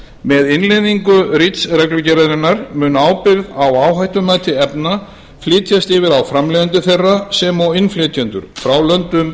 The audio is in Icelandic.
með innleiðingu reach reglugerðarinnar mun ábyrgð á áhættumati efna flytjast yfir á framleiðendur þeirra sem og innflytjendur frá löndum